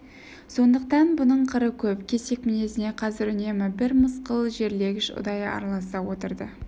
сондықтан бұның қыры көп кесек мінезіне қазір үнемі бір мысқыл жерлегіш ұдайы араласа отырды